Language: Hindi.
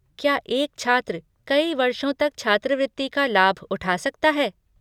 क्या एक छात्र कई वर्षों तक छात्रवृत्ति का लाभ उठा सकता है?